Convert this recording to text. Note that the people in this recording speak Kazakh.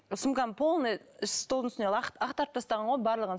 сумкам полный столдың үстіне ақтарып тастаған ғой барлығын